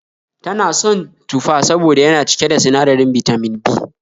Ta na son tufa saboda yana cike da sinadirin Bitamin B